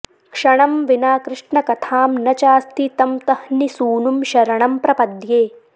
क्षणं विना कृष्णकथां न चास्ति तं तह्निसूनुं शरणं प्रपद्ये